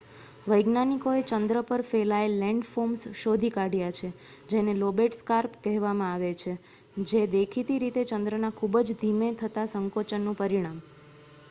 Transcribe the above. વૈજ્ઞાનિકોએ ચંદ્ર પર ફેલાયેલ લેન્ડફોર્મ્સ શોધી કાઢ્યા છે જેને લોબેટ સ્કાર્પ કહેવામાં આવે છે જે દેખીતી રીતે ચંદ્રના ખુબ જ ધીમે થતા સંકોચનનું પરિણામ